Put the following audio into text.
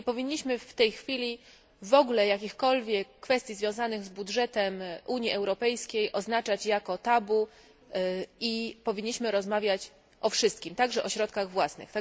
Nie powinniśmy w tej chwili w ogóle jakichkolwiek kwestii związanych z budżetem Unii Europejskiej traktować jako tabu i powinniśmy rozmawiać o wszystkim, także o środkach własnych.